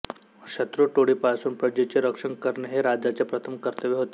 शत्रु टोळीपासून प्रजेचे रक्षण करणे हे राजाचे प्रथम कर्तव्य होते